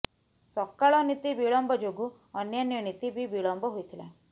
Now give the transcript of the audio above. ସକାଳ ନୀତି ବିଳମ୍ବ ଯୋଗୁ ଅନ୍ୟାନ୍ୟ ନୀତି ବି ବିଳମ୍ବ ହୋଇଥିଲା